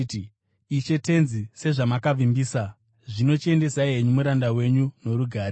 “Ishe Tenzi, sezvamakavimbisa, zvino chiendesai henyu muranda wenyu norugare.